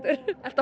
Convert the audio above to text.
ertu að